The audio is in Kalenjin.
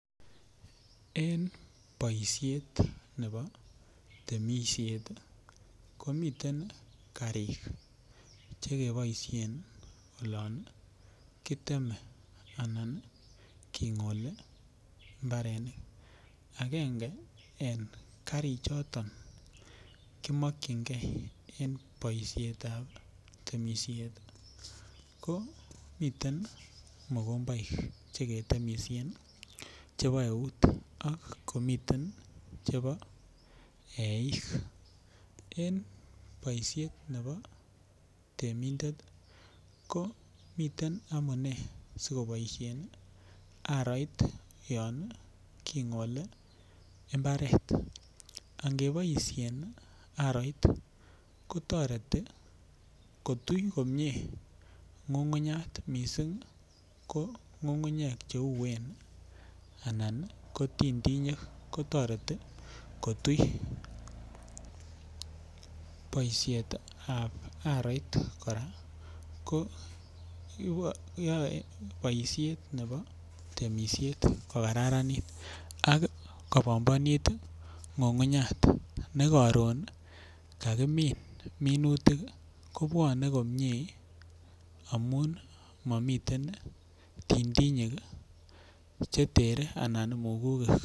En poishet nepo temishet komiten kariik che kepaishen olan kiteme anan king'oli mbarenik, Agenge en karichoton kimakchingei en temishet ko miten mkombaik che ketemishen chepo eut ak komiten cgepo eiik. En poishet nepo temindet komiten amune sikopoisheen aaroit yan king'ole mbaret. Angepaishen aroit kotareti kotuch komye ng'ung'unyat missing' ko ng'ung'unyek che uen anan ko tinytinyek. Ko tareti kotuch. Poishetap aroit kora koyae poishet nepo temishet kokararanit ak kopambanit ng'ug'unyat ne karon kakimin minutik kopwane komye amu mamitetn tinytinyek chee teren anan mugukik.